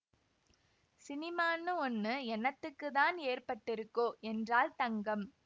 ஸினிமான்னு ஒண்ணு என்னத்துக்குத்தான் ஏற்பட்டிருக்கோ என்றாள் தங்கம்